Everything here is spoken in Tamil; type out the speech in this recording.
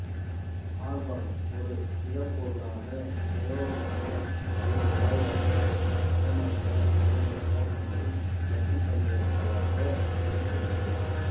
ஆர்கான் ஒரு திடப்பொருளாக திரவமாக அல்லது வாயுவாக நிறமற்ற மணமற்ற மற்றும் நச்சுத்தன்மையற்றதாக இருக்கிறது